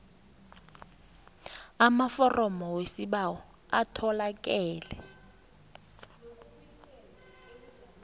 amaforomo wesibawo atholakala